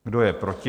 Kdo je proti?